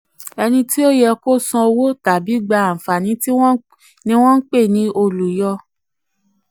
ẹni tí wọ́n yẹ kí ó san san um owó tàbí gba àǹfààní ni wọ́n ń pè ní olùyọ.